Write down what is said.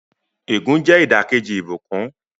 Ègún jẹ́ ìdàkejì ìbùkún.